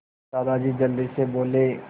दादाजी जल्दी से बोले